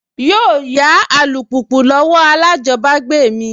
Yóò yá alùpùpù lọ́wọ́ alájọbágbé mi